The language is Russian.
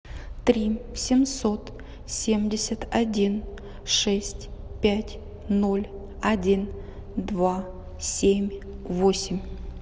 три семьсот семьдесят один шесть пять ноль один два семь восемь